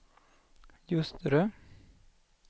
Ljusterö